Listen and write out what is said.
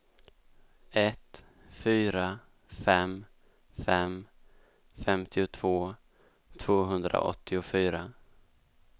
ett fyra fem fem femtiotvå tvåhundraåttiofyra